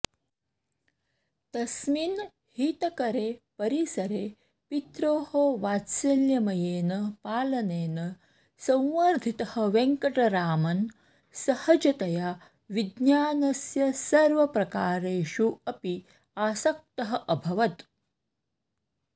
तस्मिन् हितकरे परिसरे पित्रोः वात्सल्यमयेन पालनेन संवर्धितः वेङ्कटरामन् सहजतया विज्ञानस्य सर्वप्रकारेषु अपि आसक्तः अभवत्